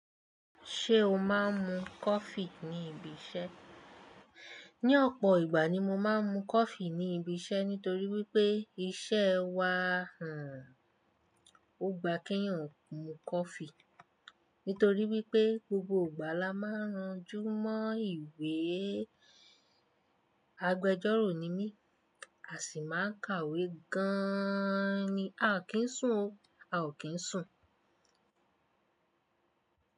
Ṣé o máa ń mu coffee ní ibi iṣẹ́? Ní ọ̀pọ̀ ìgbà ni mo máa ń mu coffee ní ibi iṣẹ́ nítorí wípé iṣẹ́ wa, o gbà kí eeyan ò mu coffee. Nítorí wípé gbogbo ìgbà la máa ń ran ju mọ́ ìwé. Agbejọ́rò ni mí, a sì máa ń kàwé gan-an ni. A kì ń sùn o, a ò kí ń sùn.